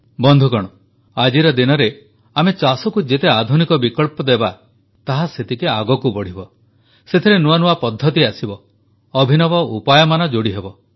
ବନ୍ଧୁଗଣ ଆଜିର ଦିନରେ ଆମେ ଚାଷକୁ ଯେତେ ଆଧୁନିକ ବିକଳ୍ପ ଦେବା ତାହା ସେତିକି ଆଗକୁ ବଢ଼ିବ ସେଥିରେ ନୂଆନୂଆ ପଦ୍ଧତି ଆସିବ ଅଭିନବ ଉପାୟମାନ ଯୋଡ଼ିହେବ